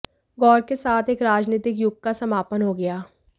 गौर के साथ एक राजनीतिक युग का समापन हो गया